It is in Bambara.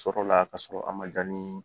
Sɔrɔla k'a sɔrɔ a ma ja ni